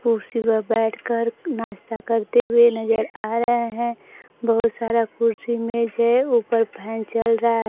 कुर्सी पर बैठकर नाश्ता करते हुए नजर आ रहे हैं बहुत सारा कुर्सी मेज है ऊपर फैन चल रहा --